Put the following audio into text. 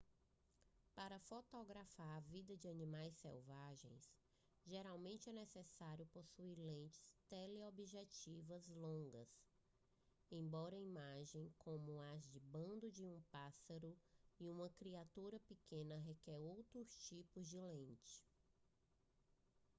para fotografar a vida de animais selvagens geralmente é necessário possuir lentes teleobjetivas longas embora imagens como as de um bando de pássaros ou uma criatura pequena requerem outros tipos de lentes